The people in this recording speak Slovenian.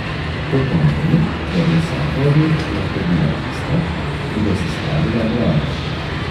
To pomeni, da bi vsaka od njih lahko bila tista, ki bo sestavila vlado.